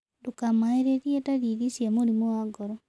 Ndũkamaĩrĩrĩe darĩrĩ cia mũrĩmũ wa ngoro